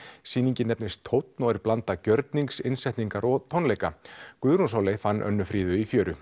sýningin nefnist tónn og er blanda gjörnings innsetningar og tónleika Guðrún Sóley fann Önnu Fríðu í fjöru